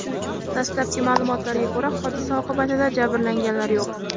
Dastlabki ma’lumotlarga ko‘ra, hodisa oqibatida jabrlanganlar yo‘q.